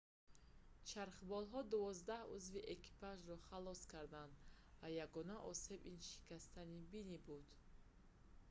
чархболҳо дувоздаҳ узви экипажро халос карданд ва ягона осеб ин шикастани бинӣ буд